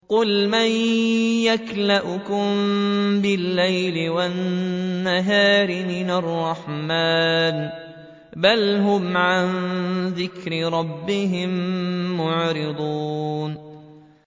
قُلْ مَن يَكْلَؤُكُم بِاللَّيْلِ وَالنَّهَارِ مِنَ الرَّحْمَٰنِ ۗ بَلْ هُمْ عَن ذِكْرِ رَبِّهِم مُّعْرِضُونَ